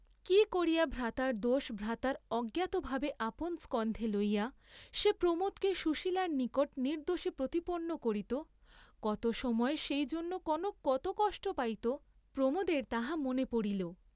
কি করিয়া ভ্রাতার দোষ ভ্রাতার অজ্ঞাতভাবে আপন স্কন্ধে লইয়া সে প্রমোদকে সুশীলার নিকট নির্দোষী প্রতিপন্ন করিত, কত সময় সেই জন্য কনক কত কষ্ট পাইত, প্রমোদের তাহা মনে পড়িল।